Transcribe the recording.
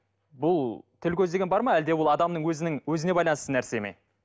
бұл тіл көз деген бар ма әлде ол адамның өзінің өзіне байланысты нәрсе ме